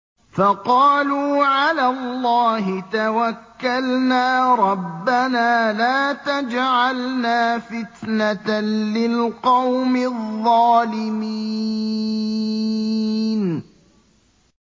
فَقَالُوا عَلَى اللَّهِ تَوَكَّلْنَا رَبَّنَا لَا تَجْعَلْنَا فِتْنَةً لِّلْقَوْمِ الظَّالِمِينَ